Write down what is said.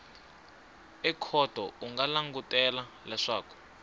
ekhoto u nga langutela leswaku